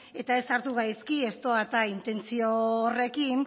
eta ez hartu gaizki ez doa eta intentzio horrekin